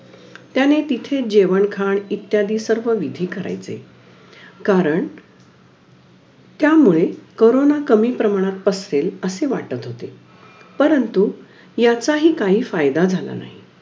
अं शिक्षक दिनादिवशी पण हि विज्ञान चा विषय शिकवला व्हता , कारण मला विज्ञान पण माझा favourite विषय आहे.